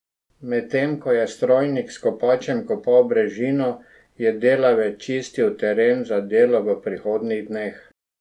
Medtem ko je strojnik s kopačem kopal brežino, je delavec čistil teren za delo v prihodnjih dneh.